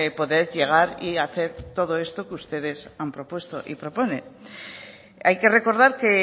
poder llegar y hacer todo esto que ustedes han propuesto y proponen hay que recordar que